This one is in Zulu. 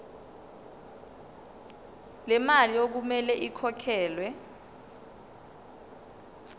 lemali okumele ikhokhelwe